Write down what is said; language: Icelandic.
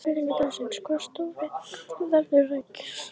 Spurning dagsins: Hvaða stjóri verður rekinn næst?